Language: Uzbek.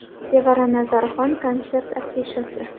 Sevara Nazarxon konsert afishasi.